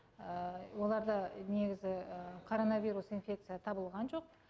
оларда негізі коронавирус инфекция табылған жоқ